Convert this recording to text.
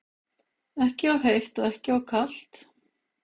Ekki of heitt og ekki of kalt?